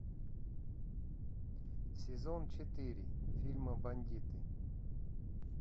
сезон четыре фильма бандиты